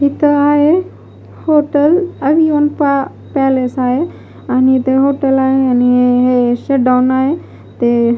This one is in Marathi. इथं आहे हॉटेल आणि ऑन पॅलेस आहे आणि इथे हॉटेल आहे आणि हे शडाउन आहे ते --